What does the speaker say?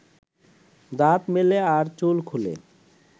দাঁত মেলে আর চুল খুলে